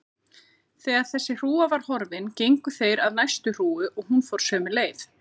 Þegar þessi hrúga var horfin gengu þeir að næstu hrúgu og hún fór sömu leið.